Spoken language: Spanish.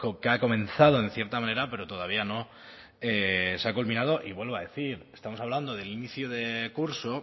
que ha comenzado en cierta manera pero todavía no se ha culminado y vuelvo a decir estamos hablando del inicio de curso